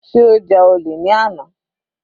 Sé ó ja olè ní àná.